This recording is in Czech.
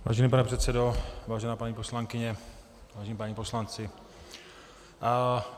Vážený pane předsedo, vážená paní poslankyně, vážení páni poslanci.